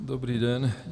Dobrý den.